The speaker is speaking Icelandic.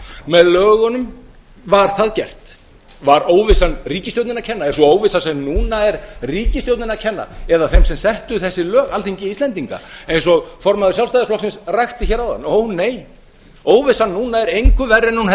með lögunum var það gert var óvissan ríkisstjórninni að kenna er sú óvissa sem núna er ríkisstjórninni að kenna eða þeim sem settu þessi lög alþingi íslendinga eins og formaður sjálfstæðisflokksins rakti hér áðan ónei óvissan núna er engu verri en hún hefði verið